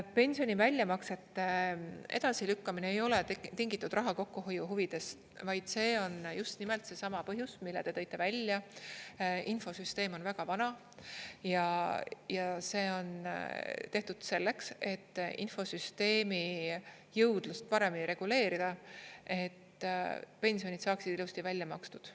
Pensioni väljamaksete edasilükkamine ei ole tingitud raha kokkuhoiu huvidest, vaid see on just nimelt seesama põhjus, mille te tõite välja, infosüsteem on väga vana ja see on tehtud selleks, et infosüsteemi jõudlust paremini reguleerida, et pensionid saaksid ilusti välja makstud.